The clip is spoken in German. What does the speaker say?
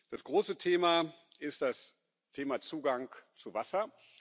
Das große Thema ist das Thema Zugang zu Wasser.